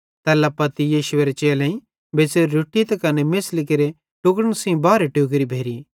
तैल्ला पत्ती यीशुएरे चेलेईं बेच़्च़ोरी रोट्टी त कने मेछ़ली केरे टुक्ड़न सेइं बारहे टोकरी भेरी